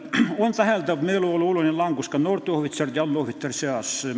On täheldatav meeleolu oluline langus ka noorte ohvitseride ja allohvitseride seas.